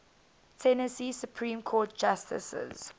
tennessee supreme court justices